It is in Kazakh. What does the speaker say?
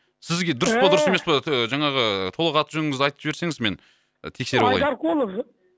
сізге дұрыс па дұрыс емес па жаңағы толық аты жөніңізді айтып жіберсеңіз мен тексеріп алайын айдарқұлов